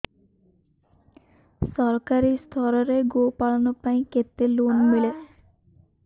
ସରକାରୀ ସ୍ତରରେ ଗୋ ପାଳନ ପାଇଁ କେତେ ଲୋନ୍ ମିଳେ